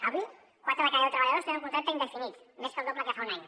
avui quatre de cada deu treballadors tenen un contracte indefinit més del doble que fa un any